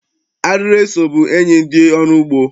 Arịrị eso bụ enyi ndị ọrụ ugbo.